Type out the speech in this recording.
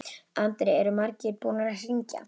Andri: Eru margir búnir að hringja?